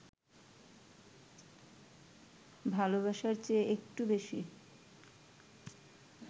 ভালোবাসার চেয়ে একটু বেশি